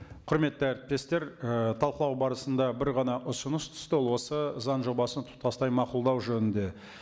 құрметті әріптестер і талқылау барысында бір ғана ұсыныс түсті ол осы заң жобасын тұтастай мақұлдау жөнінде